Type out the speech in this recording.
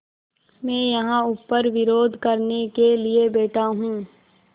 मैं यहाँ ऊपर विरोध करने के लिए बैठा हूँ